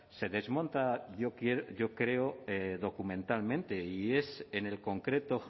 se desmonta yo creo documentalmente